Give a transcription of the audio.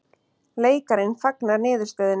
Leikarinn fagnar niðurstöðunni